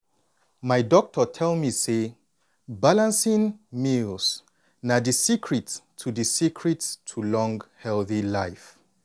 my doctor tell me say balancing meals na di secret to di secret to long healthy life.